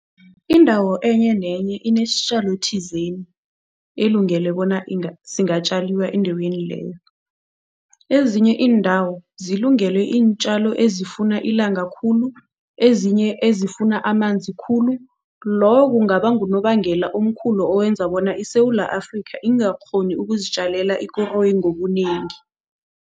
Indawo enye nenye inesitjalo thizeni elungele bona singatjaliwa endaweni leyo. Ezinye iindawo zilungele iintjalo ezifuna ilanga khulu, ezinye ezifuna amanzi khulu, lowo kungaba ngunobangela omkhulu owenza bona iSewula Afrika ingakghoni ukuzitjalela ikoroyi ngobunengi.